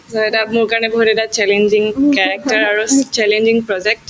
so, এটা মোৰ কাৰণে বহুত এটা challenging character আৰু challenging project